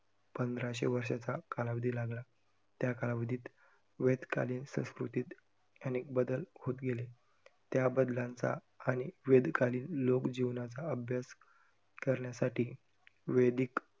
पंधराशे वर्षाचा कालावधी लागला. त्या कालावधीत वेद कालीन संस्कृतीत अनेक बदल होतं गेले. त्याबदलांचा अनेक वेद कालीन लोकजीवनाचा अभ्यास करण्यासाठी वेदीक